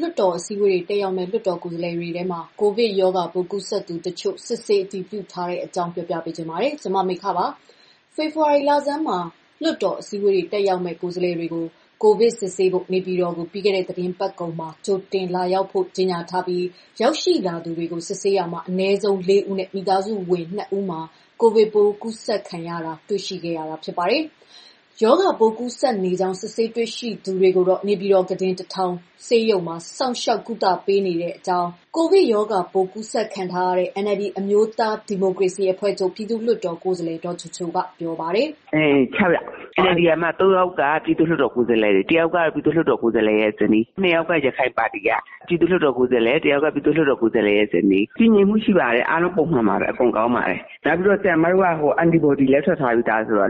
လွှတ်တော် အစည်းအဝေးတွေ တက်ရောက်မယ့် ကိုယ်စားလှယ်တွေထဲမှာ ကိုဗစ်ရောဂါပိုး ကူးစက်သူတချို့ စစ်ဆေးအတည်ပြုထားတဲ့အကြောင်း ပြောပြပါမယ်။ ဗွီအိုအေမြန်မာပိုင်း သတင်းထောက် မမေခက သတင်းပေးပို့ထားပါတယ်။ ဖေဖော်ဝါရီလဆန်းမှာ လွှတ်တော် အစည်းအဝေး တက်ရောက်မယ့် ကိုယ်စားလှယ်တွေကို ကိုဗစ်ရောဂါ စစ်ဆေးဖို့ နေပြည်တော်ကို ပြီးခဲ့တဲ့ သီတင်းပတ်ကုန်မှာ ကြိုတင်လာရောက်ကြဖို့ ကြေညာထားပြီး ရောက်ရှိလာသူတွေကို စစ်ဆေးရာမှာ အနည်းဆုံး ၄ ဦးနဲ့ မိသားစုဝင် ၂ ဦးမှာ ရောဂါပိုးကူးစက်နေတာ တွေ့ရှိခဲ့တာ ဖြစ်ပါတယ်။ ရောဂါပိုး ကူးစက်နေကြောင်း စစ်ဆေးတွေ့ရှိသူတွေကိုတော့ နေပြည်တော် ကုတင် ၁,၀၀၀ ဆေးရုံမှာ စောင့်ရှောက်ကုသပေးထားကြောင်း ကိုယ်တိုင်ရောဂါပိုး ကူးစက်ခံထားရတဲ့ NLD အမျိုးသား ဒီမိုကရေစီအဖွဲ့ချုပ် ပြည်သူ့လွှတ်တော်ကိုယ်စားလှယ် ဒေါ်ချိုချိုကပြောပါတယ်။ "၆ ယောက်။ NLD က ၃ ယောက်က ပြည်သူ့လွှတ်တော်ကိုယ်စားလှယ်၊ တယောက်က ပြည်သူ့လွှတ်တော်ကိုယ်စားလှယ်ဇနီးပါ၊ ၂ ယောက်က ရခိုင်ပါတီကပါ။ ပြည်သူ့လွှတ်တော်ကိုယ်စားလှယ်နဲ့ သူ့ဇနီးပါ၊ အခြေအနေတွေကတည်ငြိမ်ပါတယ်။ အားလုံးပုံမှန်ပဲ အကုန်ကောင်းပါတယ်။ ဆရာမတို့က antibody လည်း ထွက်ထားပြီးပြီဆိုတော့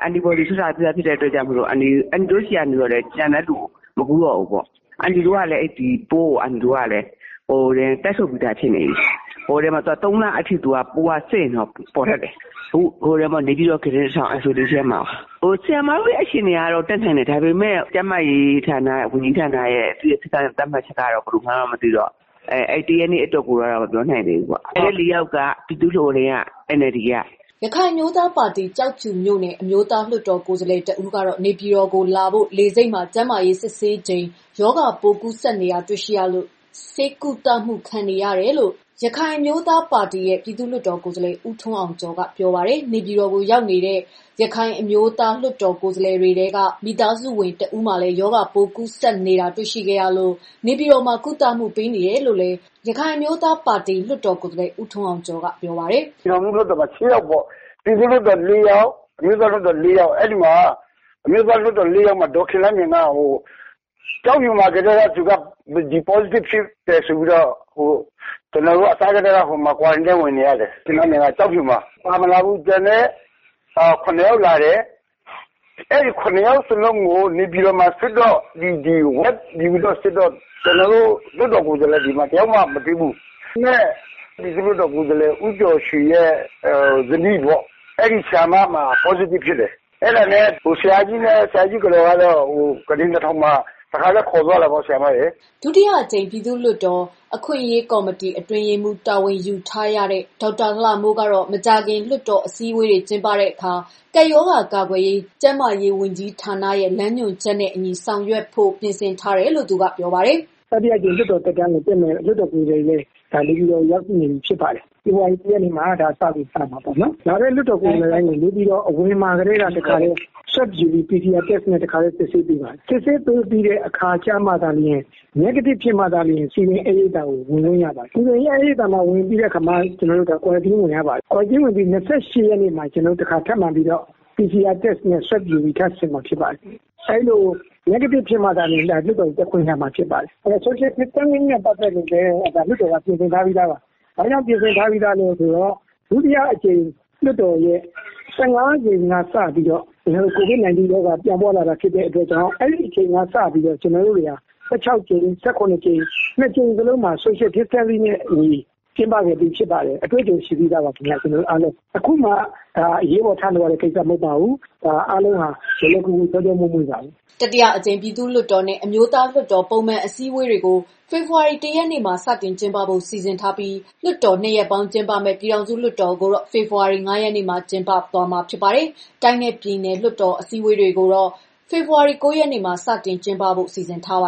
အန်တီတို့ဆီကနေ ကျန်တဲ့သူ မကူးတော့ဘူးပေါ့။ ပိုးကိုလည်း တိုက်ထုတ်ပြီးသားဖြစ်နေပြီ။ ၃ လ အထိ စစ်ရင်တော့ပေါ်တတ်တယ်။ အခုနေပြည်တော် ကုတင် ၁,၀၀၀ isolation မှာပါ။ ဆရာမတို့အခြေအနေကတော့ လွှတ်တော်တက်နိုင်တယ်။ ကျန်းမာရေးဝန်ကြီးဌာနရဲ့ စည်းကမ်းချက်ကတော့ ဘယ်လိုလဲမသိတော့ လာမယ့် ၁ ရက်နေ့အတွက်ကိုတော့ မပြောနိုင်သေးဘူးပေါ့။" ရခိုင်အမျိုးသားပါတီ ကျောက်ဖြူမြို့နယ် အမျိုးသားလွှတ်တော်ကိုယ်စားလှယ် တဦးကတော့ နေပြည်တော်ကို လာဖို့ လေဆိပ်မှာ ကျန်းမာရေးစစ်ချိန် ရောဂါပိုး ကူးစက်နေတာ တွေ့ရှိရလို့ ဆေးကုသမှု ခံယူနေရတယ်လို့လည်း ANP ပါတီ ပြည်သူ့လွှတ်တော် ကိုယ်စားလှယ် ဦးထွန်းအောင်ကျော်က ပြောပါတယ်။ နေပြည်တော်ကို ရောက်လာကြတဲ့ ANP လွှတ်တော်ကိုယ်စားလှယ်တွေထဲက မိသားစုဝင် တဦးမှာလည်း ရောဂါပိုးကူးစက်နေတာ တွေ့ရှိခဲ့လို့ နေပြည်တော်မှာ ကုသမှုပေးနေတယ်လို့လည်း ANP ပါတီက လွှတ်တော်ကိုယ်စားလှယ် ဦးထွန်းအောင်ကျော်က ပြောပါတယ်။ "ပြည်ထောင်စုလွှတ်တော်မှာ ရှစ်ယောက်ပေါ့။ ပြည်သူ့လွှတ်တော် လေးယောက်၊ အမျိုးသားလွှတ်တော် လေးယောက်။ အဲဒီမှာ အမျိုးသားလွှတ်တော် လေးယောက်မှာ ဒေါ်ခင်လှမြိုင်က ကျောက်ဖြူမှာကတည်းက postitive ဖြစ်တယ်ဆိုပြီးတော့ Quarantine ဝင်နေရတယ် ကျောက်ဖြူမှာ၊ ပါမလာဘူး။ ကျန်တဲ့ ၇ ယောက်လာတယ်။ အဲဒီ ၇ ယောက်စလုံးကို နေပြည်တော်မှာ စစ်တော့ ကျနော်တို့ လွှတ်တော်ကိုယ်စားလှယ်တွေဆီမှာ မတွေ့ဘူး။ အဲ့မှာ ပြည်သူလွှတ်တော်ကိုယ်စားလှယ် ဦးကျော်ရှိန်ဇနီးပေါ့။ အဲဒီ ဆရာမမှာ positive ဖြစ်တယ်။ ဆရာကြီးနဲ့ ဆရာကြီးကတော်ကတော့ ကုတင် ၁,၀၀၀ မှာ တခါတည်း ခေါ်သွားတာပေါ့။" ဒုတိယအကြိမ် ပြည်သူ့လွှတ်တော် အခွင့်အရေးကော်မတီ အတွင်းရေးမှူး တာဝန်ယူထားတဲ့ ဒေါက်တာလှမိုးကတော့ မကြာခင် လွှတ်တော် အစည်းအဝေးတွေ ကျင်းပတဲ့အခါ ကပ်ရောဂါ ကာကွယ်ရေး ကျန်းမာရေးဝန်ကြီးဌာနရဲ့ လမ်းညွှန်ချက်နဲ့အညီ ဆောင်ရွက် ပြင်ဆင်ထားတယ်လို့ ပြောပါတယ်။ "တတိယအကြိမ် လွှတ်တော်သက်တမ်းကိုတက်မယ့် လွှတ်တော်ကိုယ်စားလှယ်တွေလည်း နေပြည်တော်ကို ရောက်ရှိနေပြီ ဖြစ်ပါတယ်။ ဖေဖော်ဝါရီ ၁ ရက်နေ့မှာ စမှာပေါ့နော်။ လာတဲ့ လွှတ်တော်ကိုယ်စားလှယ်တိုင်းကို နေပြည်တော်အဝင်မှာကတည်းက Swab ယူပြီး တခါတည်း စစ်ဆေးပေးပါတယ်။ စစ်ဆေးပေးပြီးတဲ့ အခါကျမှသာလျှင် Negative ဖြစ်မှာသာ စည်ပင်ဧည့်ရိပ်သာကို ဝင်လို့ရမှာ ဖြစ်ပါတယ်။ စည်ပင်ဧည့်ရိပ်သာကို ဝင်ပြီးတဲ့အခါမှာ Quarantine ဝင်ရပါတယ်။ Quarantine ဝင်ပြီး ၂၈ ရက်နေ့မှာ တခါ ထပ်စစ်မှာ ဖြစ်ပါတယ်။ အဲဒီလို negative ဖြစ်မှာသာ လွှတ်တော်တက်ခွင့်ရမှာ ဖြစ်ပါတယ်။ နောက်တခုက social Distancing နဲ့ ပတ်သက်ပြီးတော့လည်း လွှတ်တော်က ပြင်ဆင်ထားပြီးသားပါ။ ဘာကြောင့် ပြင်ဆင်ထားပြီးလဲဆိုတော့ လွှတ်တော်ရဲ့ ၁၅ ကြိမ်ကစပြီးတော့ COVID 19 ရောဂါပြန့်ပွားလာပြီ ဖြစ်တဲ့အတွက်ကြောင့် အဲဒီအချိန်ကစပြီးတော့ ၁၆ ကြိမ်၊ ၁၇ ကြိမ် နှစ်ကြိမ်စလုံးမှာ social distancing နဲ့ အညီ ကျင်းပခဲ့ခြင်းဖြစ်ပါတယ်။ အတွေ့အကြုံရှိပြီးသားပါ ခင်ဗျ အားလုံး။ အခုမှ အရေးပေါ်ထလုပ်ရတဲ့ ကိစ္စမဟုတ်ပါဘူး။ အားလုံးဟာ လွယ်လွယ်ကူကူး ချောချောမွေ့မွေ့ပါပဲ။" တတိယအကြိမ်ပြည်သူ့လွှတ်တော်နဲ့ အမျိုးသားလွှတ်တော် ပထမပုံမှန်အစည်းအဝေးတွေကို ဖေဖော်ဝါရီ ၁ ရက်နေ့မှာ စတင်ကျင်းပဖို့ စီစဉ်ထားပြီး လွှတ်တော် ၂ ရပ် ပေါင်းကျင်းပတဲ့ ပြည်ထောင်စုလွှတ်တော်ကိုတော့ ဖေဖော်ဝါရီ ၅ ရက်မှာ ကျင်းပမှာ ဖြစ်ပါတယ်။ တိုင်းနဲ့ပြည်နယ် လွှတ်တော် အစည်းအဝေးတွေကိုတော့ ဖေဖော်ဝါရီ ၉ ရက်နေ့မှ စတင်ကျင်းပဖို့လည်း စီစဉ်ထားပါ